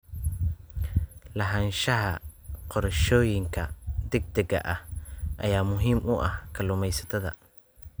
Lahaanshaha qorshooyinka degdega ah ayaa muhiim u ah kalluumaysatada.